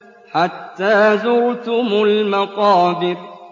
حَتَّىٰ زُرْتُمُ الْمَقَابِرَ